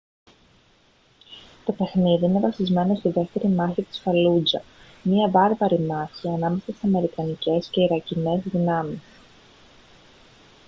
το παιχνίδι είναι βασισμένο στη δεύτερη μάχη της φαλούτζα μια βάρβαρη μάχη ανάμεσα στις αμερικανικές και τις ιρακινές δυνάμεις